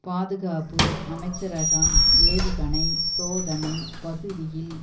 பாதுகாப்பு அமைச்சரகம் ஏவுகணை சோதனை பகுதியில்